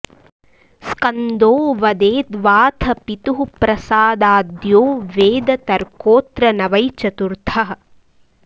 स्कन्दो वदेद्वाथ पितुः प्रसादाद्यो वेद तर्कोत्र न वै चतुर्थः